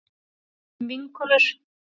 Erum vinkonur.